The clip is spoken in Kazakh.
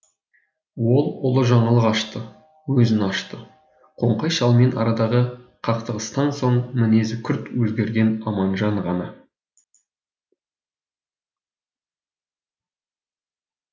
ол ұлы жаңалық ашты өзін ашты қоңқай шалмен арадағы қақтығыстан соң мінезі күрт өзгерген аманжан ғана